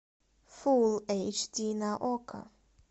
фул эйч ди на окко